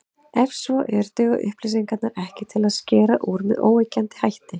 Ef svo er, duga upplýsingarnar ekki til að skera úr með óyggjandi hætti.